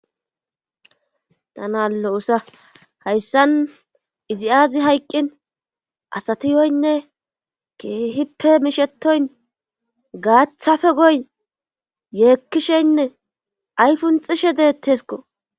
Tana lo7usa hayssan izi aazi hayqqin asatiyoynne keehippe mishetoyn gaaththafe goyn yeekkisheynne aypunxishe deettesko.